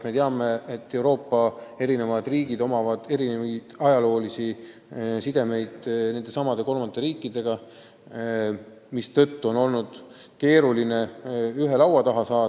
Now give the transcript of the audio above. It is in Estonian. Me teame, et Euroopa riikidel on nendesamade kolmandate riikidega erinevad ajaloolised sidemed, mistõttu on olnud keeruline kõiki ühe laua taha saada.